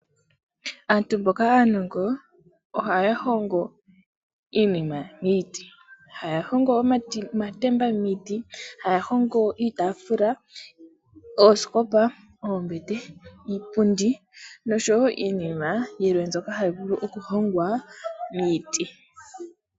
Aantu mboka aanongo ohahongo iinima miti hayahongo omatemba miti, hayahongo iitafula, oosikopa, oombete, iipundi nosho wo iinima yilwe mbyoka hayi vulu okuhongwa miti.